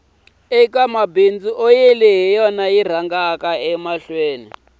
eka mabindzu oyili hi yona yi rhangaka